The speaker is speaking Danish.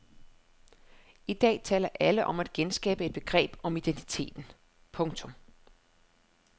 I dag taler alle om at genskabe et begreb om identiteten. punktum